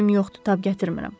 Gücüm yoxdur, tab gətirmirəm.